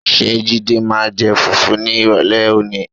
Ṣé Jídé máa jẹ fùfú ní ìrọ̀lẹ́ òní?